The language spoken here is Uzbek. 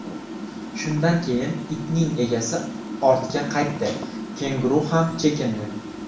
Shundan keyin itning egasi ortga qaytdi, kenguru ham chekindi.